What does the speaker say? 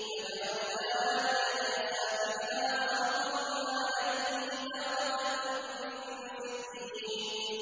فَجَعَلْنَا عَالِيَهَا سَافِلَهَا وَأَمْطَرْنَا عَلَيْهِمْ حِجَارَةً مِّن سِجِّيلٍ